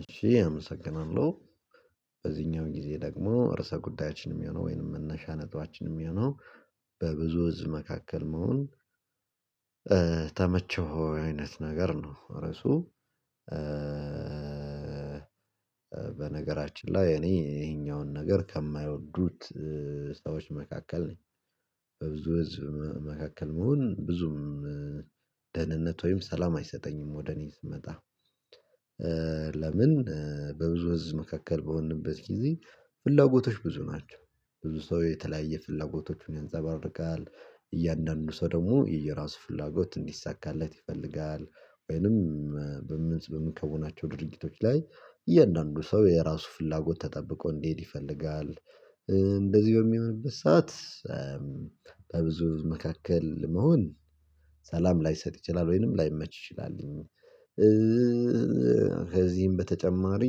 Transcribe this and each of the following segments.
እሺ አመሰግናለሁ። በዚህኛው ጊዜ ደግሞ እርስ ጉዳያችንም የሚሆነው ወይንም መነሻ የሆነው በብዙ ህዝብ መካከል መሆን ተመቸህ ወይ አይነት ነገር ነው? ርዕሱ በነገራችን ላይ እኔ ይሄኛውን ነገር ከማይወዱት ሰዎች መካከል ነኝ። በብዙ ህዝብ መካከል መሆን ብዙም ደህንነት ወይም ሰላም አይሰጠኝም። ወደ እኔ ስመጣ ለምን? በብዙ ህዝብ መካከል በሆንንበት ጊዜ ፍላጎቶች ብዙ ናቸው ብዙ ሰው የተለያየ ፍላጎቶቹን ያንፀባርቃል እያንዳንዱ ሰው ደግሞ የየራሱ ፍላጎት እንዲሳካለት ይፈልጋል ወይንም በምን ከሆናቸው ድርጊቶች ላይ እያንዳንዱ ሰው የራሱ ፍላጎት ተጠብቆ እንዲሄድ ይፈልጋል። እንደዚሁ የሚሆንበት ሰዓት በብዙ መካከል መሆን ሰላም ላይሰጥ ይችላል ወይንም ላይመች ይችላልኝ። ከዚህም በተጨማሪ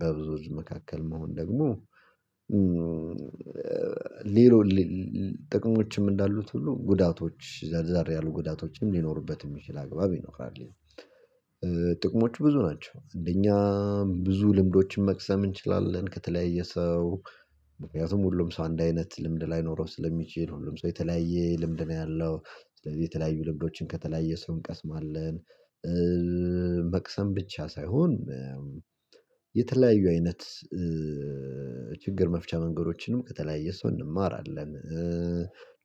በብዙ መካከል መሆን ደግሞ ሌሎች ጥቅሞችም እንዳሉት ሁሉ ጉዳቶች ዛሬ ያሉ ጉዳቶችም ሊኖሩበት የሚችል አግባብ ይኖራል። ጥቅሞች ብዙ ናቸው አንደኛ ብዙ ልምዶችን መቅሰም እንችላለን ከተለያየ ሰው ምክንያቱም ሁሉም ሰው አንድ አይነት ልምድ ላይኖረው ስለሚችል ሁሉም ሰው የተለያየ ልምድ ነው ያለው። ስለዚህ የተለያዩ ልምዶችን ከተለያየ ሰው እንቀስማለን መቅሰም ብቻ ሳይሆን የተለያዩ አይነት ችግር መፍቻ መንገዶችንም ከተለያየ ሰው እንማራለን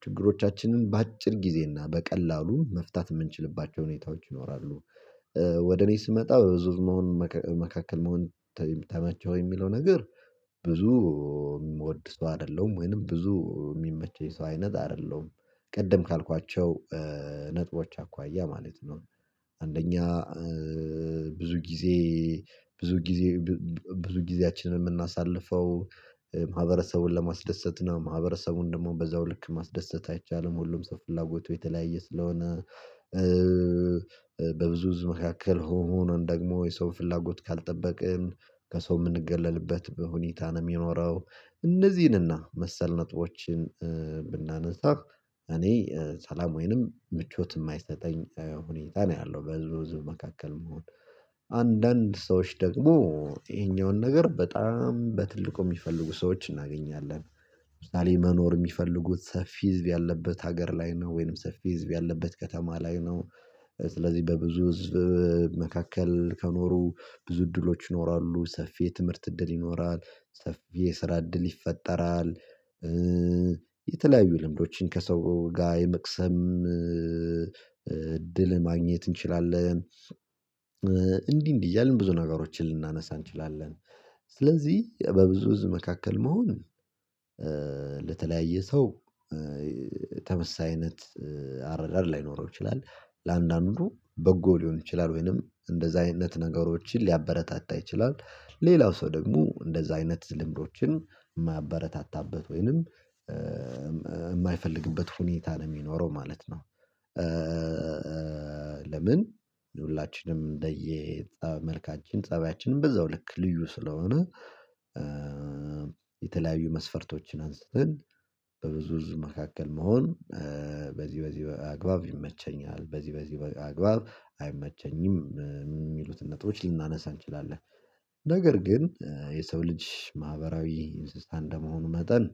ችግሮቻችንን በአጭር ጊዜ እና በቀላሉ መፍታት የምንችልባቸው ሁኔታዎች ይኖራሉ። ወደ እኔ ስመጣ በዙር መሆን መካከል መሆን ተመቸህ ወይ የሚለው ነገር የሚወድ ሰው አይደለም ወይንም ብዙ የሚመቸኝ ሰው አይነት አይደለም ቅድም ካልኳቸው ነጥቦች አኳያ ማለት ነው። አንደኛ ብዙ ጊዜ ብዙ ጊዜ ብዙ ጊዜያችንን የምናሳልፈው ማህበረሰቡን ለማስደሰት ማህበረሰቡን ደግሞ በዛው ልክ ማስደሰት አይቻልም ሁሉም ሰው ፍላጎቱ የተለያየ ስለሆነ በብዙ ህዝብ መካከል ሆሞ መሆኑን ደግሞ የሰው ፍላጎት ካልጠበቅን ከሰው የምንገለልበት በሁኔታ ነው የሚኖረው። እነዚህንና መሰል ነጥቦችን ብናነሳ እኔ ሰላም ወይንም ምቾት የማይሰጠኝ ሁኔታ ነው ያለው በዙሉ መካከል መሆን። አንዳንድ ሰዎች ደግሞ ይሄኛውን ነገር በጣም በትልቁ የሚፈልጉ ሰዎች እናገኛለን ምክንያቱም መኖር የሚፈልጉት ሰፊ ህዝብ ያለበት ሀገር ላይ ነው ወይንም ሰፊ ህዝብ ያለበት ከተማ ላይ ነው። ስለዚህ በብዙ ህዝብ መካከል ከኖሩ ብዙ እድሎች ይኖራሉ ሰፊ የትምህርት እድል ይኖራል ሰፊ የስራ እድል ይፈጠራል። የተለያዩ ልምዶችን ከሰው ጋር የመቅሰም እድል ማግኘት እንችላለን። እንዲህ እንዲህ እያልን ብዙ ነገሮችን ልናነሳ እንችላለን ስለዚህ በብዙ ህዝብ መካከል መሆን ለተለያየ ሰው ተመሳሳይ አይነት አረዳድ ላይኖረው ይችላል ለአንዳንድ ኑሮ በጎ ሊሆን ይችላል ወይንም እንደዛ አይነት ነገሮችን ሊያበረታታ ይችላል ሌላው ሰው ደግሞ እንደዛ አይነት ልምዶችን የማያበረታታበት ወይንም የማይፈልግበት ሁኔታ ነው የሚኖረው ማለት ነው። ለምን ሁላችንም እንደየ መልካችን ፀቢያችንም በዛው ልክ ልዩ ስለሆነ የተለያዩ መስፈርቶችን አንስተን በብዙ መካከል መሆን በዚህ በዚህ አግባብ ይመቸኛል በዚህ በዚህ አግባብ አይመቸኝም የሚሉትን ነጥቦች ልናነሳ እንችላለን። ነገር ግን የሰው ልጅ ማህበራዊ እንስሳ እንደመሆኑ መጠን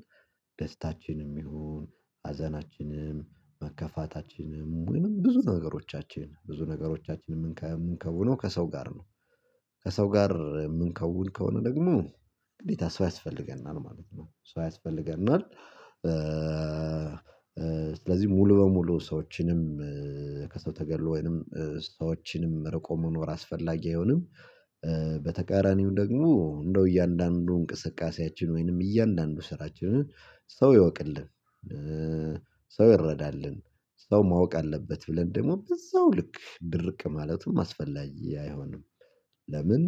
ደስታችንም ይሁን ሀዘናችንም መከፋታችንም ወይም ብዙ ነገሮቻችን ብዙ ነገሮቻችንም የምንከውነው ከሰው ጋር ነው። ከሰው ጋር የምንከውን ከሆነ ደግሞ ግዴታ ሰው አያስፈልገናል ማለት ነው ሰው አያስፈልገናል። ስለዚህ ሙሉ በሙሉ ሰዎችንም ከሰው ተገልሎ ወይንም ሰዎችንም ርቆ መኖር አስፈላጊ አይሆንም። በተቃራኒው ደግሞ እንደው እያንዳንዱ እንቅስቃሴያችን ወይንም እያንዳንዱ ስራችንን ሰው ይወቅልን ሰው ይረዳልን ሰው ማወቅ አለበት ብለን ደግሞ በዛው ልክ ድርቅ ማለቱን ማስፈላጊ አይሆንም። ለምን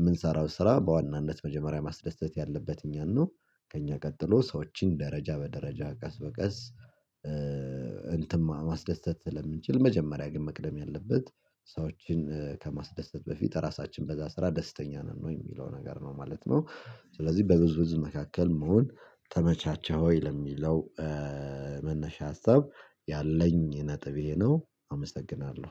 የምንሰራው ስራ በዋናነት መጀመሪያ ማስደሰት ያለበት እኛን ነው። ከእኛ ቀጥሎ ሰዎችን ደረጃ በደረጃ ቀስ በቀስ እንትማ ማስደሰት ስለምንችል መጀመሪያ ግን መቅደም ያለበት ሰዎችን ከማስደሰት በፊት ራሳችን በዛ ስራ ደስተኛ ነን ወይ የሚለው ነገር ነው ማለት ነው። ስለዚህ በብዙ ብዙ መካከል መሆን ተመቻቻህ ወይ ለሚለው መነሻ ሀሳብ ያለኝ ነጥቤ ይህ ነው አመሰግናለሁ